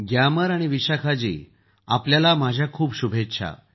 ग्यामर आणि विशाखा आपल्याला माझ्या खूप शुभेच्छा